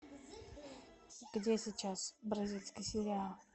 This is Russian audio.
где сейчас бразильский сериал